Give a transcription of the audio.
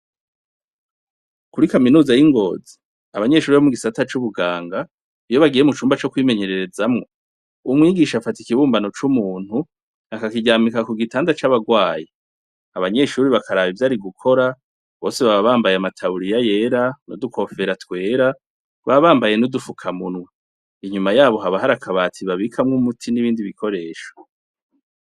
Kuri kaminuza y'i Ngozi, abanyeshure bo mu gisata c'ubuganga, iyo bagiye mu cumba co kwimenyererezamwo, umwigisha afata ikibumbano c'umuntu akakiryamika ku gitanda c'abarwayi, abanyeshure bakaraba ivyo ari gukora, bose baba bambaye amataburiya yera, n'udukofera twera, baba bambaye n'udufukamunwa, inyuma yabo haba hari akabati babikamwo umuti n'ibindi bikoresho.